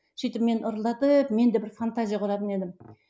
сөйтіп мен ырылдатып мен де бір фантазия құратын едім